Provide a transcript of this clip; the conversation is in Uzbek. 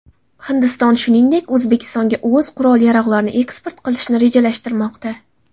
Hindiston shuningdek, O‘zbekistonga o‘z qurol-yarog‘larini eksport qilishni rejalashtirmoqda.